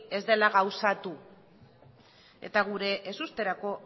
ez dela gauzatu eta gure ezusterako